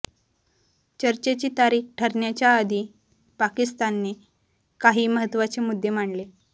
चर्चेची तारीख ठरण्याच्या आधी पाकिस्तानने काही महत्त्वाचे मुद्दे मांडले